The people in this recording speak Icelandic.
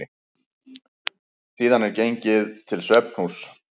Síðan er gengið til svefnhúss.